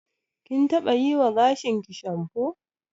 Kin taɓa yiwa gashinki shamfo.